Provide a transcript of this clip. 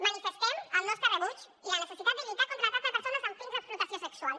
manifestem el nostre rebuig i la necessitat de lluitar contra el tracte de persones amb fins d’explotació sexual